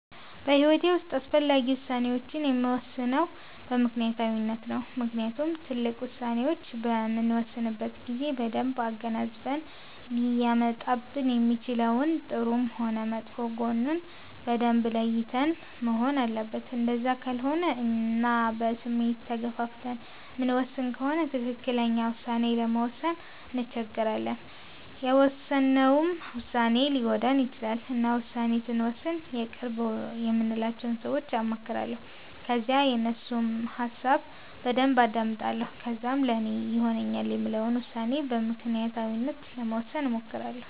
በሂዎቴ ዉስጥ አስፈላጊ ውሳኔወቺን የምወስነው በምክኒያታዊነት ነው። ምክንያቱም ትልቅ ዉሳኔዎች በምንወስንበት ጊዜ በደንብ አገናዝበን ሊያመጣብን የሚችለውን ጥሩም ሆነ መጥፎ ጎኑን በደንብ ለይተን መሆን አለበት እንደዛ ካልሆነ እና በስሜት ተገፋፍተን የምንወስን ከሆነ ትክክለኛ ዉሳኔ ለመወሰን እንቸገራለን የውሰነውም ዉሳኔ ሊጎዳን ይቺላል። እና ዉሳኔ ስወስን የቅርብ የምላቸውን ሰወች አማክራለሁ ከዛ የነሱንም ሀሳብ በደንብ አዳምጣለሁ ከዛም ለኔ ይሆነኛል የምለውን ዉሳኔ በምክኒያታዊነት ለመወሰን እሞክራለሁ